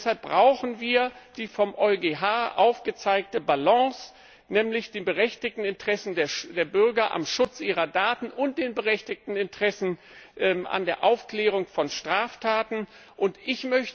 Deshalb brauchen wir die vom EuGH aufgezeigte Balance, um den berechtigten Interessen der Bürger am Schutz ihrer Daten und den berechtigten Interessen an der Aufklärung von Straftaten gerecht zu werden.